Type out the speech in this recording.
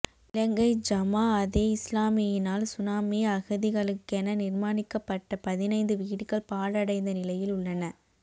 இலங்கை ஜமாஅதே இஸ்லாமியினால் சுனாமி அகதிகளுக்கென நிர்மாணிக்கப்பட்ட பதினைந்து வீடுகள் பாழடைந்த நிலையில் உள்ளன